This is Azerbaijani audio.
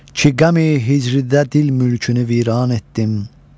Ki qəmi hicridə dil mülkünü viran etdim.